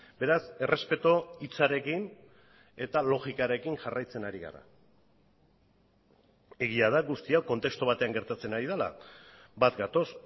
beraz errespetu hitzarekin eta logikarekin jarraitzen ari gara egia da guzti hau kontestu batean gertatzen ari dela bat gatoz